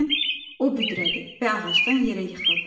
Birdən o büdrədi və ağacdan yerə yıxıldı.